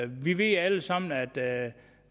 vi ved alle sammen at